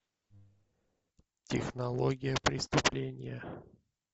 технология преступления